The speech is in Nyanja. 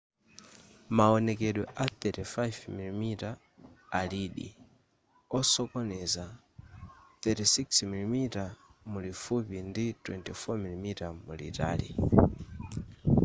mawonekedwe a 35mm alidi osokoneza 36mm mulifupi ndi 24mm mulitali